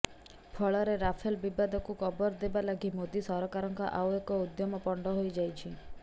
ଫଳରେ ରାଫେଲ୍ ବିବାଦକୁ କବର ଦେବା ଲାଗି ମୋଦୀ ସରକାରଙ୍କ ଆଉ ଏକ ଉଦ୍ୟମ ପଣ୍ତ ହୋଇ ଯାଇଛି